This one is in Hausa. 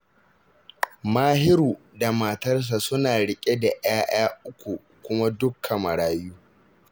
Mahiru da matarsa suna riƙe da 'ya'ya uku kuma dukka marayu